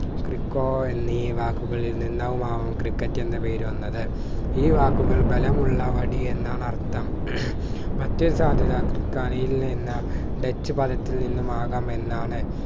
crico എന്നീ വാക്കുകളിൽ നിന്നുമാകാം ക്രിക്കറ്റ് എന്ന പേര് വന്നത് ഈ വാക്കുകൾ ബലമുള്ള വടി എന്നാണ് അർഥം മറ്റൊരു സാധ്യത യിൽ നിന്ന് ഡച്ച് പദത്തിൽ നിന്നുമാകാം എന്നാണ്